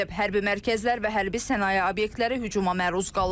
Hərbi mərkəzlər və hərbi sənaye obyektləri hücuma məruz qalıb.